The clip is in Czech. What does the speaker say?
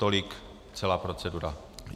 Tolik celá procedura.